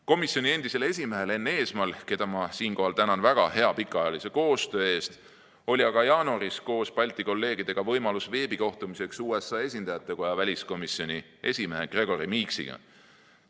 Komisjoni endisel esimehel Enn Eesmaal, keda ma siinkohal tänan väga hea pikaajalise koostöö eest, oli aga jaanuaris koos Balti kolleegidega võimalus veebikohtumiseks USA Esindajatekoja väliskomisjoni esimehe Gregory Meeksiga.